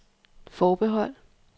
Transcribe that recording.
forbehold